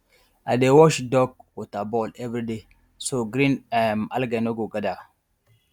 i dey wash duck water bowl everyday so green um algae no go gather